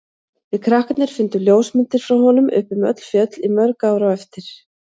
Við krakkarnir fundum ljósmyndir frá honum uppi um öll fjöll í mörg ár á eftir.